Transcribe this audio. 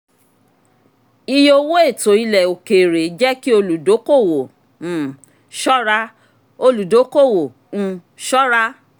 iye owó ètò ilẹ̀ òkèèrè jẹ́ kí olùdókòwò um ṣọ́ra. olùdókòwò um ṣọ́ra.